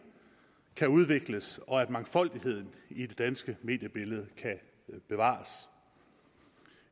kan udvikles og at mangfoldigheden i det danske mediebillede kan bevares